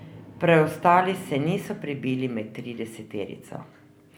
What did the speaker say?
Preostali se niso prebili med trideseterico.